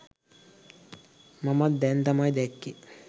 මමත් දැන් තමයි දැක්කේ.